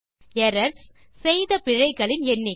errors - செய்த பிழைகளின் எண்ணிக்கை